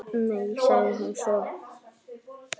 Nei, sagði hún svo.